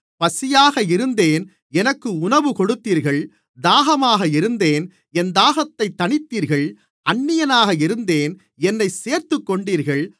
பசியாக இருந்தேன் எனக்கு உணவு கொடுத்தீர்கள் தாகமாக இருந்தேன் என் தாகத்தைத் தனித்தீர்கள் அந்நியனாக இருந்தேன் என்னைச் சேர்த்துக்கொண்டீர்கள்